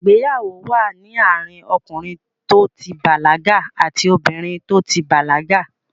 Ìgbéyàwó wà ní àárín ọkìnrin tó ti bàlágà àti obìnrin tó ti bàlágà.